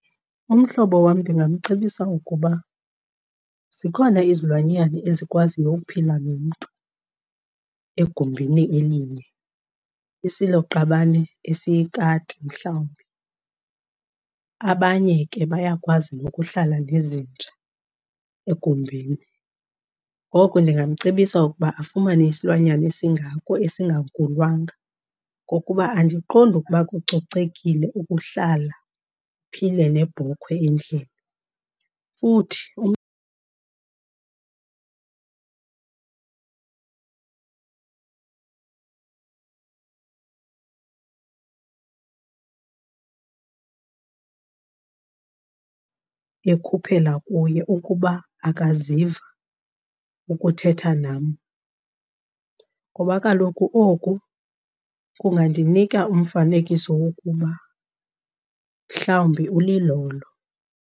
Umhlobo wam ndingamcebisa ukuba zikhona izilwanyana ezikwaziyo ukuphila nomntu egumbini elinye, isiloqabane esiyikati mhlawumbi. Abanye ke bayakwazi nokuhlala nezinja egumbini, ngoko ndingamcebisa ukuba afumane isilwanyana esingako esingankulwanga. Ngokuba andiqondi ukuba kucocekile ukuhlala uphile nebhokhwe endlini. Futhi ekhuphela kuye ukuba akaziva ukuthetha nam, ngoba kaloku oku kungandinika umfanekiso wokuba mhlawumbi ulilolo.